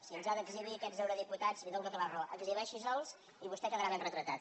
si ens ha d’exhibir aquests eurodipu·tats li dono tota la raó exhibeixi·los i vostè queda rà ben retratat